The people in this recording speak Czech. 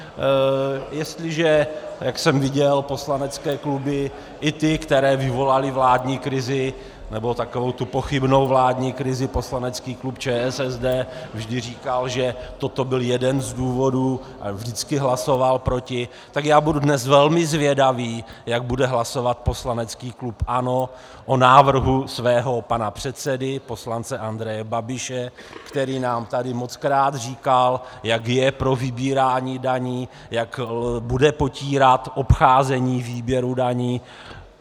Jestliže, jak jsem viděl, poslanecké kluby, i ty, které vyvolaly vládní krizi, nebo takovou tu pochybnou vládní krizi, poslanecký klub ČSSD vždy říkal, že toto byl jeden z důvodů a vždycky hlasoval proti, tak já budu dnes velmi zvědavý, jak bude hlasovat poslanecký klub ANO o návrhu svého pana předsedy, poslance Andreje Babiše, který nám tady mockrát říkal, jak je pro vybírání daní, jak bude potírat obcházení výběru daní.